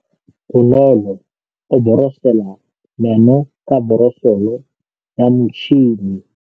Bonolô o borosola meno ka borosolo ya motšhine.